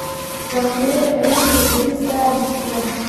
waqtiyada tareenka berri saadi subax